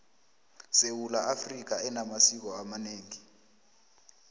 sewula afrika enamasiko amaneengi